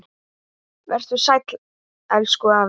Vertu sæll, elsku afi.